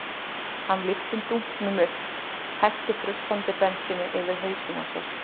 Hann lyfti dunknum upp og hellti frussandi bensíni yfir hausinn á sér.